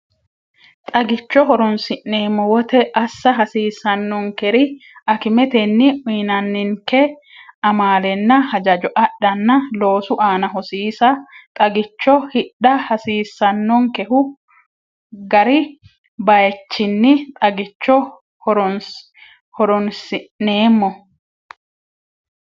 Xagicho horoonsi’neemmo wote assa hasiissannonkeri Akimetenni uyinanninke amaalenna hajajo adhanna loosu aana hosiisa Xagicho hidha hasiissannonkehu gari bayichinni Xagicho horoonsi’neemmo.